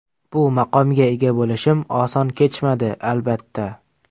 Bu maqomga ega bo‘lishim oson kechmadi, albatta.